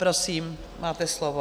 Prosím, máte slovo.